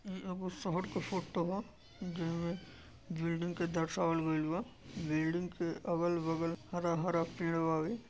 इ एगो शहर के फोटो ह जे में मे बिल्डिंग के दर्शवाल गइल बा बिल्डिंग के अगल बगल हरा हरा पेड़ बावे।